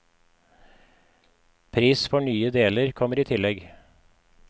Pris for nye deler kommer i tillegg.